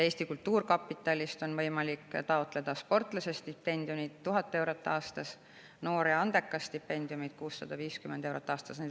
Eesti Kultuurkapitalist on võimalik taotleda sportlasestipendiumi, mis on 1000 eurot aastas, ja stipendiumi "Noor ja andekas", mis on 650 eurot aastas.